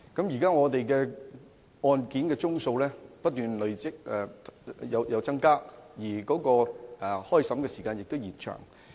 現時案件的宗數一直不斷增加，而開審時間亦因而延長。